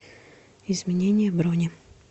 изменение брони